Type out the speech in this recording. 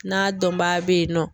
N'a dɔnbaa be yen nɔ